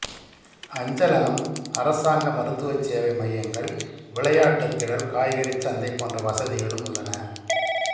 அஞ்சலகம் அரசாங்க மருத்துவச் சேவை மையங்கள் விளையாட்டுத் திடல் காய்கறிச் சந்தை போன்ற வசதிகளும் உள்ளன